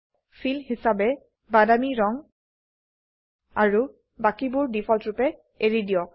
feel হিসাবে বাদামী brown আৰু বাকিবোৰ ডিফল্টৰুপে এৰি দিয়ক